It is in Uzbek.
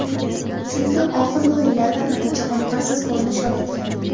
Chunki oxirgi o‘yinlarda natija qoniqarsiz ko‘rinish olayotgandi.